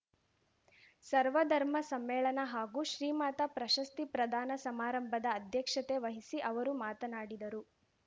ಸರ್ವಧರ್ಮ ಸಮ್ಮೇಳನ ಹಾಗೂ ಶ್ರೀಮಾತಾ ಪ್ರಶಸ್ತಿ ಪ್ರದಾನ ಸಮಾರಂಭದ ಅಧ್ಯಕ್ಷತೆ ವಹಿಸಿ ಅವರು ಮಾತನಾಡಿದರು